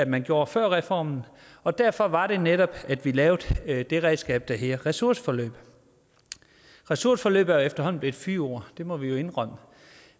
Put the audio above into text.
man gjorde før reformen og derfor var det netop at vi lavede det redskab der hedder ressourceforløb ressourceforløb er efterhånden blevet et fyord det må vi jo indrømme